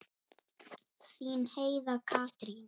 Þín Heiða Katrín.